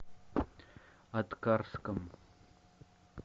аткарском